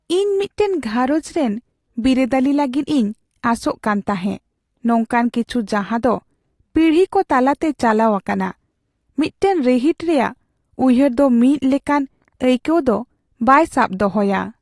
ᱤᱧ ᱢᱤᱫᱴᱟᱝ ᱜᱷᱟᱨᱚᱸᱡᱽ ᱨᱮᱱ ᱵᱤᱨᱟᱹᱫᱟᱹᱞᱤ ᱞᱟᱹᱜᱤᱫ ᱤᱧ ᱟᱥᱚᱜ ᱠᱟᱱ ᱛᱟᱦᱮᱸ , ᱱᱚᱝᱠᱟᱱ ᱠᱤᱪᱷᱩ ᱡᱟᱦᱟᱸᱫᱚ ᱯᱤᱲᱦᱤ ᱠᱚ ᱛᱟᱞᱟᱛᱮ ᱪᱟᱞᱟᱣ ᱟᱠᱟᱱᱟ ᱾ ᱢᱤᱫᱴᱟᱝ ᱨᱤᱦᱤᱴ ᱨᱮᱭᱟᱜ ᱩᱭᱦᱟᱹᱨ ᱫᱚ ᱢᱤᱫ ᱞᱮᱠᱟᱱ ᱟᱹᱭᱠᱟᱹᱣ ᱫᱚ ᱵᱟᱭ ᱥᱟᱵ ᱫᱚᱦᱚᱭᱟ ᱾